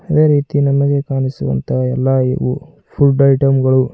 ಅದೇ ರೀತಿ ನಮಗೆ ಕಾಣಿಸುವಂತಹ ಎಲ್ಲಾ ಯು ವೂ ಫುಲ್ ಐಟಂ ಗಳು--